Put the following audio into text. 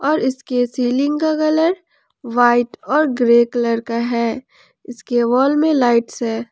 और इसके सीलिंग का कलर व्हाइट और ग्रे कलर का है इसके वॉल में लाइट्स है।